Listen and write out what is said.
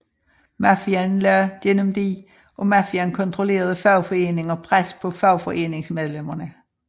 Mafiaen lagde gennem de af mafiaen kontrollerede fagforeninger pres på fagforeningsmedlemmerne